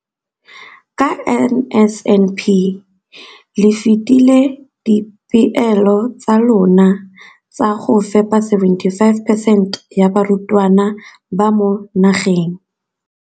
Ka NSNP le fetile dipeelo tsa lona tsa go fepa masome a supa le botlhano a diperesente ya barutwana ba mo nageng.